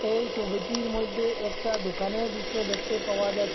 এই সবিটির মইধ্যে একটা দোকানের দৃশ্য দেখতে পাওয়া যা--